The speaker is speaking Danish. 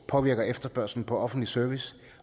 påvirker efterspørgslen på offentlig service